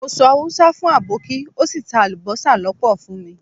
Mo sọ Haúsá sì àbọ́kí ó sì ta alubosa lọ́pọ̀ fún mi.